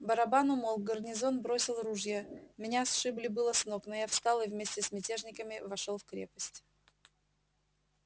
барабан умолк гарнизон бросил ружья меня сшибли было с ног но я встал и вместе с мятежниками вошёл в крепость